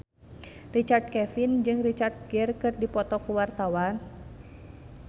Richard Kevin jeung Richard Gere keur dipoto ku wartawan